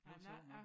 Det var sjovt nok